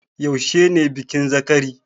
Yaushe ne bikin zakari?